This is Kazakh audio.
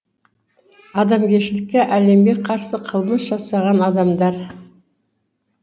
адамгершілікке әлемге қарсы қылмыс жасаған адамдар